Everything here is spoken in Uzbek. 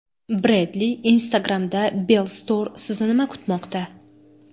Breadly Instagram’da Bellstore Sizni nima kutmoqda?